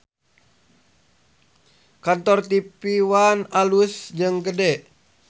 Kantor TV One alus jeung gede